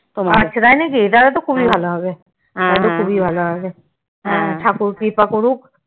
আচ্ছা তাই নাকি তাহলে তো খুবই ভালো হবে ঠাকুর কৃপা করুক